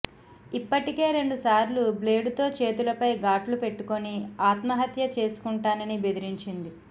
ఇప్పటికే రెండుసార్లు బ్లేడుతో చేతులపై గాట్లు పెట్టుకుని ఆత్మహత్య చేసుకుంటానని బెదిరించింది